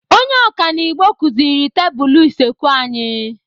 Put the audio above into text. Onye ọkanibo kụziri tebụlụ usekwu anyi.